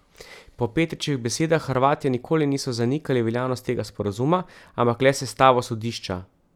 Po Petričevih besedah Hrvatje nikoli niso zanikali veljavnosti tega sporazuma, ampak le sestavo sodišča.